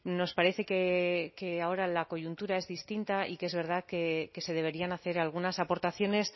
nos parece que ahora la coyuntura es distinta y que es verdad que se deberían hacer algunas aportaciones